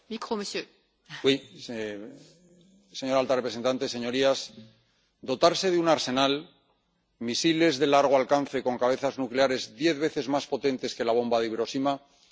Señora presidenta, señora alta representante, Señorías, dotarse de un arsenal, de misiles de largo alcance con cabezas nucleares diez veces más potentes que la bomba de Hiroshima, no es una broma.